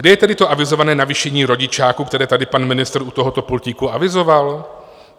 Kde je tedy to avizované navýšení rodičáku, které tady pan ministr u tohoto pultíku avizoval?